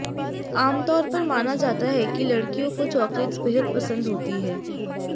आमतौर पर माना जाता है कि लड़कियों को चॉकलेट्स बेहद पसंद होती हैं